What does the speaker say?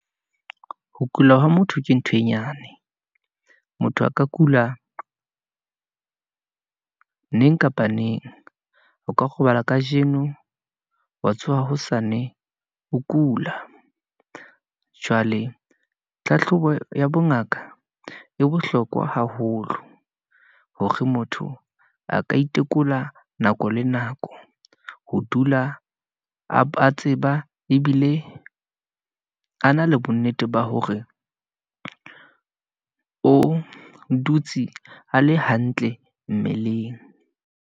Ho kula ha ho motho ke ntho e nyane, motho a ka kula neng kapa neng, o ka robala kajeno, wa tsoha hosane ho kula. Jwale tlhahlobo ya bongaka e bohlokwa haholo, hore motho a ka itekola nako le nako, ho dula a tseba ebile a na le bonnete ba hore o dutse a le hantle mmeleng.